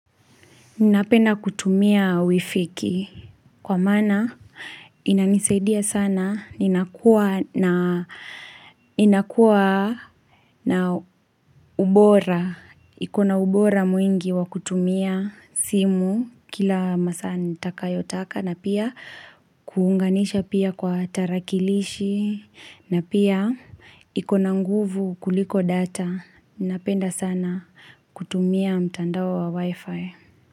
Ninapenda kutumia wifiki kwa maana inanisaidia sana, ninakuwa na ubora. Ikona ubora mwingi wa kutumia simu kila masaa nitakayotaka na pia kuunganisha pia kwa tarakilishi na pia ikona nguvu kuliko data. Ninapenda sana kutumia mtandao wa wifi.